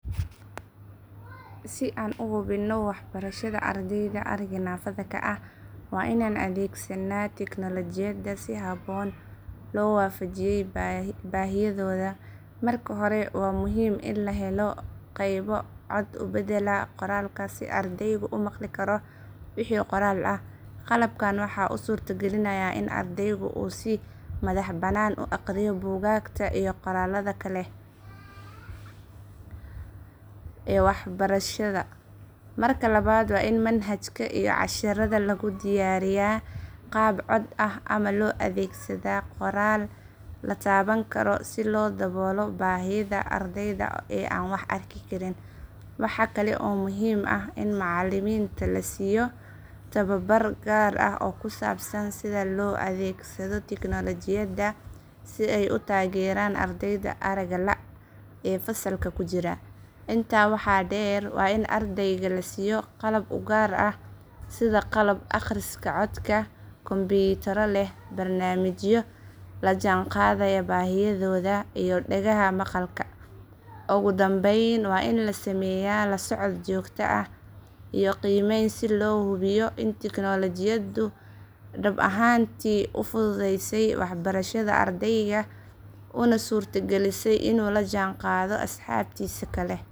Si aan u hubinno waxbarashada ardayda aragga naafada ka ah, waa inaan adeegsannaa tignoolajiyad si habboon loo waafajiyay baahiyahooda. Marka hore, waa muhiim in la helo qalab cod u beddela qoraalka si ardaygu u maqli karo wixii qoraal ah. Qalabkan waxa uu suurto galinayaa in ardaygu uu si madaxbannaan u akhriyo buugaagta iyo qoraallada kale ee waxbarasho. Marka labaad, waa in manhajka iyo casharrada lagu diyaariyaa qaab cod ah ama loo adeegsadaa qoraal la taaban karo si loo daboolo baahiyaha ardayda aan wax arki karin. Waxaa kale oo muhiim ah in macallimiinta la siiyo tababar gaar ah oo ku saabsan sida loo adeegsado tignoolajiyada si ay u taageeraan ardayda aragga la’ ee fasalka ku jira. Intaa waxaa dheer, waa in ardayga la siiyo qalab u gaar ah sida qalabka akhriska codka, kombiyuutarro leh barnaamijyo la jaanqaadaya baahiyahooda iyo dhagaha maqalka. Ugu dambayn, waa in la sameeyaa la socod joogto ah iyo qiimeyn si loo hubiyo in tignoolajiyadu dhab ahaantii u fududeysay waxbarashada ardayga una suurtagalisay inuu la jaanqaado asxaabtiisa kale.